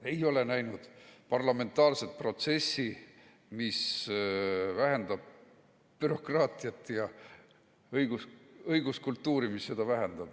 Ei ole näinud parlamentaarset protsessi, mis vähendab bürokraatiat, ja õiguskultuuri, mis seda vähendab.